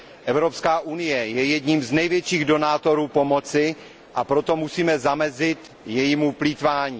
Evropská unie je jedním z největších donátorů pomoci, a proto musíme zamezit jejímu plýtvání.